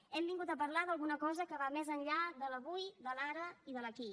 hem vingut a parlar d’alguna cosa que va més enllà de l’avui de l’ara i de l’aquí